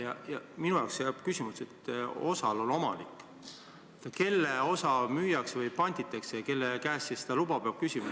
Ja minu jaoks jääb küsitavaks veel see, et kuna osal on omanik, siis kelle osa müüakse või panditakse ja kelle käest luba peab küsima.